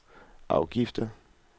afgifter